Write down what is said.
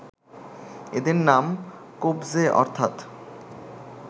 এদের নাম ‘Kopje’ অর্থাত্‍